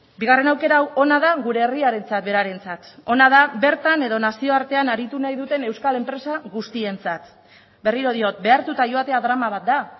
bigarren aukera hau ona da gure herriarentzat berarentzat ona da bertan edo nazioartean aritu nahi duten euskal enpresa guztientzat berriro diot behartuta joatea drama bat da